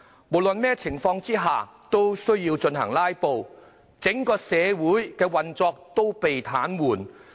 無論在任何情況下也要"拉布"，整個社會的運作被癱瘓。